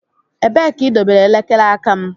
Ebee ka idobere elekere aka m?